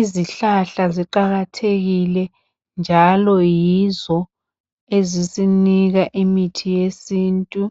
Izihlahla ziqakathekile njalo yizo ezisinika imithi yesintu.